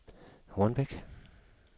Hornbæk